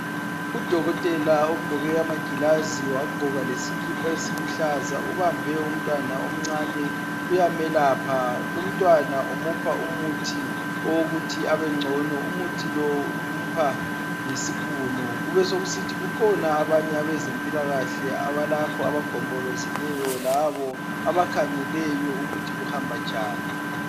udokotela ugqoke amagilazi wagqoka lesikipa esiluhlaza ubambe umntwana omncane uyamelapha lumntwana umupha umuthi wokuthi abengcono umuthi lo umupha ngesipunu kubesekusithi kukhona abanye abezempilakhle abalapho abagombolozeleyo labo abakhangeleyo ukuthi kuhamba njani